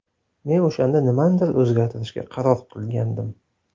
Men o‘shanda nimanidir o‘zgartirishga qaror qilgandim.